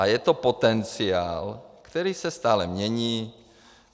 A je to potenciál, který se stále mění.